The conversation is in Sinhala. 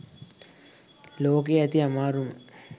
ලෝකයෙ ඇති අමාරුම